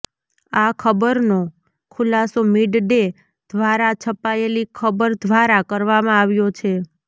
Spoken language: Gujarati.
આ ખબરનો ખુલાસો મીડ ડે ઘ્વારા છપાયેલી ખબર ઘ્વારા કરવામાં આવ્યો છે